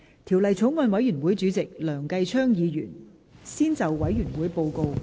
條例草案委員會主席梁繼昌議員先就委員會報告，向本會發言。